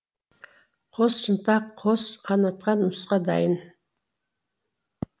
қос шынтақ қос қанатқа нұсқа дайын